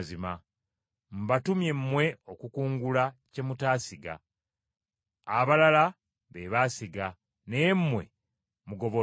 Mbatumye mmwe okukungula kye mutaasiga. Abalala be baasiga naye mmwe mugobolodde.”